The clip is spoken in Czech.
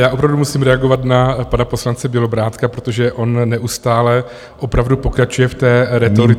Já opravdu musím reagovat na pana poslance Bělobrádka, protože on neustále opravdu pokračuje v té rétorice...